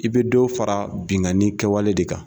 I bɛ dɔ fara bingani kɛwale de kan.